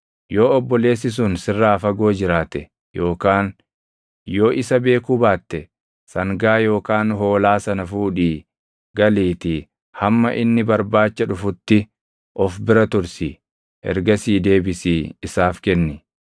Yoo obboleessi sun sirraa fagoo jiraate yookaan yoo isa beekuu baatte sangaa yookaan hoolaa sana fuudhii galiitii hamma inni barbaacha dhufutti of bira tursi. Ergasii deebisii isaaf kenni.